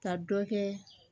Ka dɔ kɛ